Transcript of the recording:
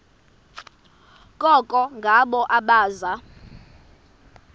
koko ngabo abaza